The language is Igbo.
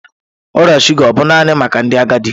Ọrịa shuga ọ bụ naanị maka ndị agadi?